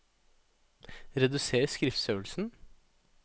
Reduser skriftstørrelsen